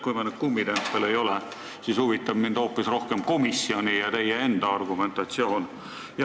Kui me ei ole kummitempel, siis huvitab mind hoopis rohkem komisjoni ja teie enda argumentatsioon.